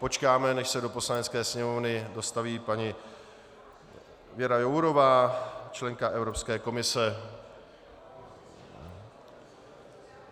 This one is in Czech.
Počkáme, než se do Poslanecké sněmovny dostaví paní Věra Jourová, členka Evropské komise.